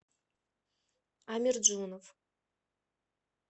амирджонов